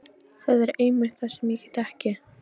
Það er einmitt það sem ég get ekki.